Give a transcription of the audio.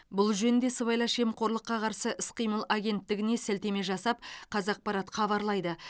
бұл жөнінде сыбайлас жемқорлыққа қарсы іс қимыл агенттігіне сілтеме жасап қазақпарат хабарлайды